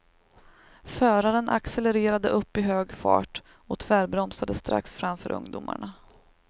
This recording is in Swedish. Föraren accelererade upp i hög fart och tvärbromsade strax framför ungdomarna.